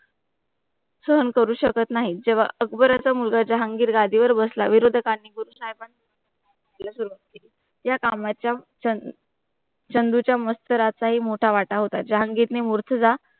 सहन करू शकत नाही जेवा अकबर च्या मुलगा जहांगीर गादीवर बसला गुरुसाहिबां या कामाच्या चंदू चा मस्त रातसाही मोट वाटा होता जहांगीर ने